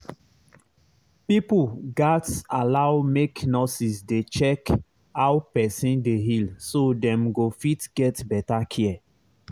pipo gats allow make nurses dey check how person dey heal so dem go fit get better care